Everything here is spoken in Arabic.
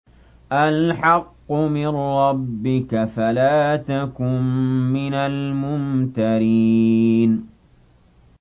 الْحَقُّ مِن رَّبِّكَ فَلَا تَكُن مِّنَ الْمُمْتَرِينَ